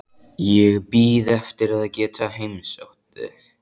Ég bíð eftir að geta heimsótt þig.